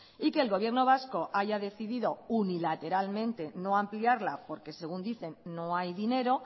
y que el gobierno vasco haya decidido unilateralmente no ampliarla porque según dicen no hay dinero